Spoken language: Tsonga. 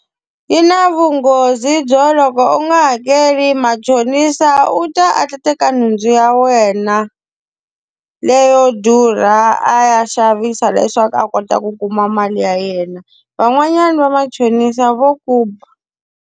Yi na vunghozi byo loko u nga hakeli machonisa u ta a ta teka nhundzu ya wena, leyo durha a ya xavisa leswaku a kota ku kuma mali ya yena. Van'wanyani va machonisa vo ku ba.